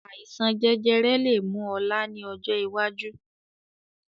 Àìsàn jẹjẹrẹ lè mú ọ̀la ni ọjọ́ iwájú